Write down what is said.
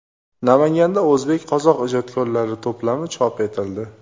Namanganda o‘zbek-qozoq ijodkorlari to‘plami chop etildi.